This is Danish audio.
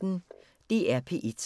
DR P1